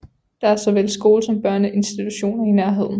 Der er såvel skole som børneinstitutioner i nærheden